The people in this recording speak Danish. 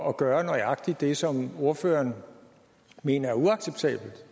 at gøre nøjagtig det som ordføreren mener er uacceptabelt